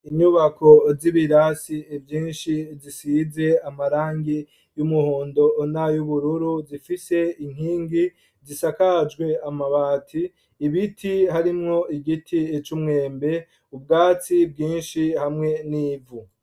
Inyubako z'ibirasi vyinshi zisize amarangi y'umuhondo na y'ubururu zifise inkingi zisakajwe amabati ibiti harimwo igiti icumwembe ubwatsi bwinshi hamwe n'ivu.